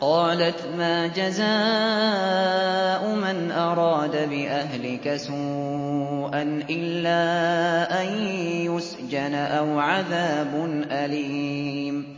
قَالَتْ مَا جَزَاءُ مَنْ أَرَادَ بِأَهْلِكَ سُوءًا إِلَّا أَن يُسْجَنَ أَوْ عَذَابٌ أَلِيمٌ